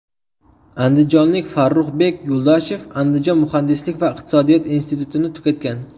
Andijonlik Farruhbek Yo‘ldoshev Andijon Muhandislik va iqtisodiyot institutini tugatgan.